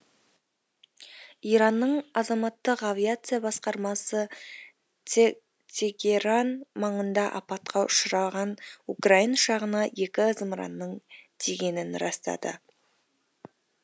иранның азаматтық авиация басқармасы тегеран маңында апатқа ұшыраған украин ұшағына екі зымыранның тигенін растады